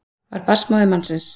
Var barnsmóðir mannsins